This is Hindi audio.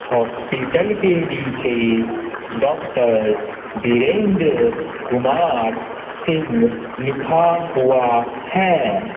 हॉस्पिटल के नीचे डॉक्टर विरेंद्र कुमार सिंह